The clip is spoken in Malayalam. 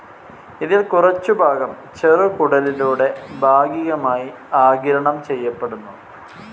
ഇതിൽ കുറച്ചുഭാഗം ചെറുകുടലിലൂടെ ഭാഗികമായി ആഗിരണം ചെയ്യപ്പെടുന്നു.